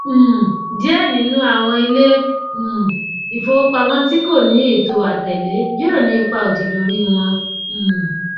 um díẹ nínú àwọn ilé um ìfowópamó tí kò ní ètò àtẹlé yóò ní ìpá òdì lórí wọn um